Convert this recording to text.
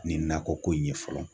Nin nakɔ ko in ye fɔlɔ